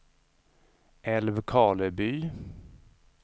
Älvkarleby